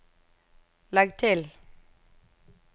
legg til